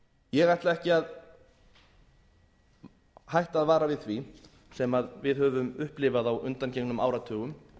ég ætla ekki að hætta að vara við því sem við höfum upplifað á undangengnum áratugum